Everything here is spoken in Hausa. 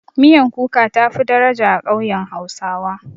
Miyan kuka tafi daraja a ƙauyen hausawa.